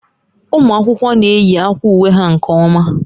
Ụmụ akwụkwọ na-eyi akwa uwe ha nke ọma